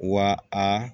Wa a